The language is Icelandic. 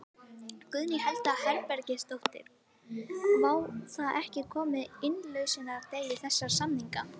Guðný Helga Herbertsdóttir: Var þá ekki komið að innlausnardegi þessara samninga?